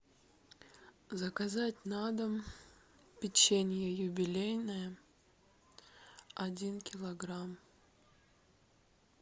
заказать на дом печенье юбилейное один килограмм